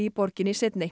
borginni